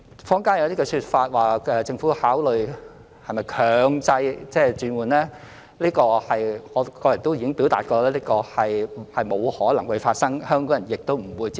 坊間有些說法指政府考慮強制轉換，此情況我個人亦已表達是不可能發生的，香港人亦不會接受。